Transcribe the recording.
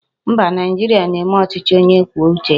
Mba, Naijiria na-eme ochichi onye kwuo uche ya